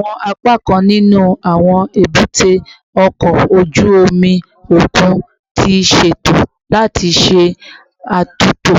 Awọn apakan ninu awọn ebute oko oju omi okun ti ṣeto lati ṣe atunto